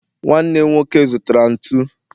nwanne nwoke zụtara ntụ